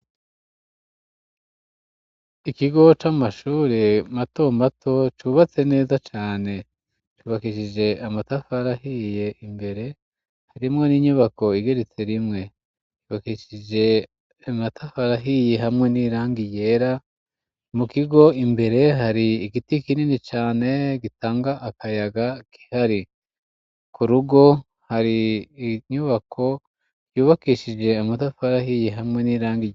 ikigo c'amashuri mato mato cubatse neza cane cubakishije amatafari ahiye imbere harimwo n'inyubako igeretse rimwe yubakeshije imatafari ahiyi hamwe n'irangi ryera mu kigo imbere hari igiti kinini cane gitanga akayaga k'ihari ku rugo hari inyubako yubakeshije amatafari ahiyi hamwe n'irangi